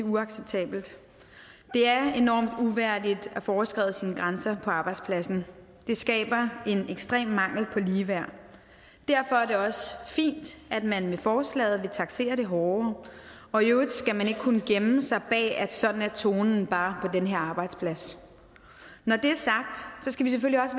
uacceptabelt det er enormt uværdigt at få overskredet sine grænser på arbejdspladsen det skaber en ekstrem mangel på ligeværd derfor er det også fint at man med forslaget vil taksere det hårdere og i øvrigt skal man ikke kunne gemme sig bag at sådan er tonen bare på den her arbejdsplads når det